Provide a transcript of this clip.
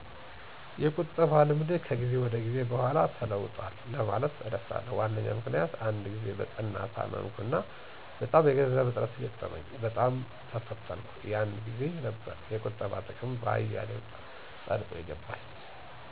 የቁጠባ ልምዴ ከጊዜ ጊዜ በኋላ ተለውጣል ለማለት እደፍራለሁ። ዋነኛው ምክንያት አንድ ጊዜ በጠና ታመምኩና በጣም የገንዘብ እጥረት ገጠመኝ፣ በጣም ተፈተንኩ፥ የን ጊዜ ነበር የቁጠባ ጥቅም በአያሌው ጠልቆ የገባኝ።